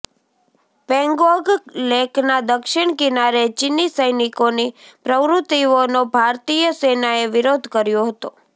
પેંગોંગ લેકના દક્ષિણ કિનારે ચીની સૈનિકોની પ્રવુતિઓનો ભારતીય સેનાએ વિરોધ કર્યો હતો